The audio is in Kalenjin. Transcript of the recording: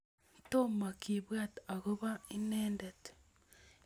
tomaa kibwat akobo inendet